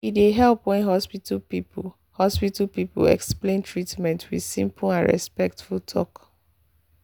e dey help when hospital people hospital people explain treatment with simple and respectful talk.